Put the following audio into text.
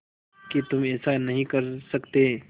कि तुम ऐसा नहीं कर सकते